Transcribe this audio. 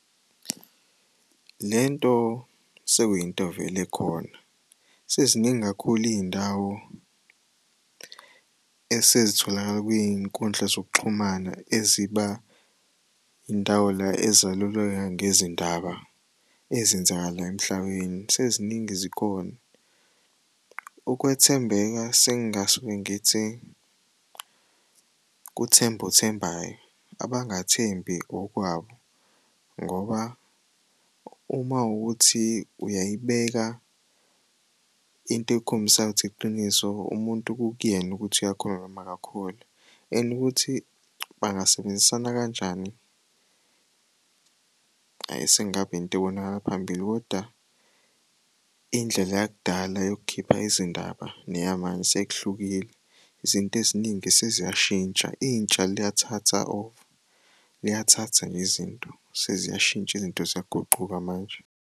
Le nto sekuyinto vele ekhona. Seziningi kakhulu iy'ndawo esezitholakala kwiy'nkundla zokuxhumana eziba indawo la ezaluleka ngezindaba ezenzakalayo emhlabeni seziningi zikhona. Ukwethembeka sengingasuke ngithi kuthemba othembayo, abangathembi okwabo ngoba uma kuwukuthi uyayibeka into ekhombisayo ukuthi iqiniso umuntu kukuyena ukuthi uyakholwa noma kakholwa and ukuthi bangasebenzisana kanjani, hhayi sekungaba yinto ebonakala phambili koda indlela yakudala yokukhipha izindaba neyamanje sekuhlukile. Izinto eziningi seziyashintsha, intsha liyathathwa over, liyathathwa nje izinto seziyashintsha izinto ziyaguquka manje.